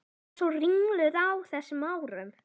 Var svo ringluð á þessum árum.